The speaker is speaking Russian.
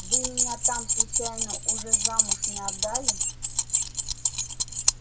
вы меня там случайно уже замуж не отдали